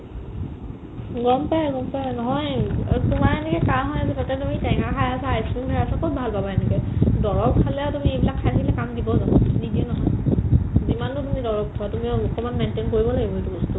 গম পাই গম পাই নহয়ে অ' তোমাৰ এনেকে কাঁহ হৈ আছে তাতে তুমি টেঙা খাই আছা, ice-cream খাই আছা ক'ত ভাল পাবা এনেকে দৰৱ খালেও তুমি এইবিলাক খাই থাকিলে কাম দিব জনো নিদিয়ে নহয় যিমানো তুমি দৰৱ খোৱা তুমিও মুখনক maintain কৰিব লাগিব এইটো বস্তু